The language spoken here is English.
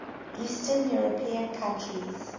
eastern european countries